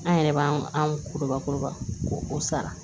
An yɛrɛ b'an kuruba kuruba k'o sara